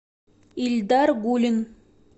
ильдар гулин